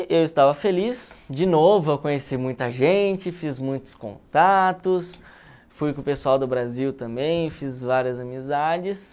E eu estava feliz, de novo, eu conheci muita gente, fiz muitos contatos, fui com o pessoal do Brasil também, fiz várias amizades.